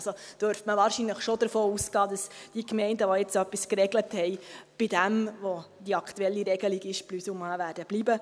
Man darf wahrscheinlich schon davon ausgehen, dass die Gemeinden, welche etwas geregelt haben, plus ou moins bei der aktuell geltenden Regelung bleiben werden.